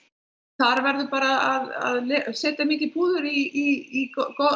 þar verður að setja mikið púður í